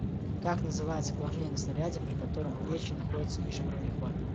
как называется положение на снаряде при котором плечи находятся ниже уровня хвата